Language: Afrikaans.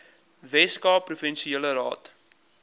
weskaapse provinsiale raad